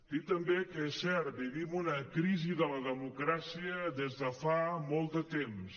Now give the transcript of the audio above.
dir també que és cert vivim una crisi de la democràcia des de fa molt de temps